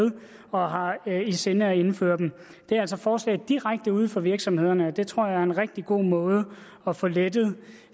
og har i sinde at indføre dem det er altså forslag direkte ude fra virksomhederne og det tror jeg er en rigtig god måde at få lettet